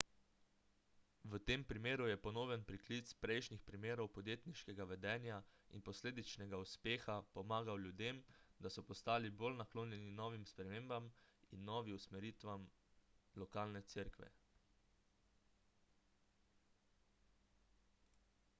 v tem primeru je ponoven priklic prejšnjih primerov podjetniškega vedenja in posledičnega uspeha pomagal ljudem da so postali bolj naklonjeni novim spremembam in novi usmeritvi lokalne cerkve